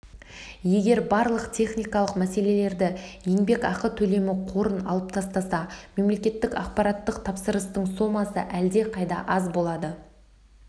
егер барлық техникалық мәселелерді еңбекақы төлемі қорын алып тастаса мемлекеттік ақпараттық тапсырыстың сомасы әлдеқайда аз болады